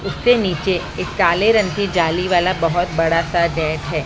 उससे नीचे एक काले रंग की जाली वाला बहोत बड़ा सा गेट है।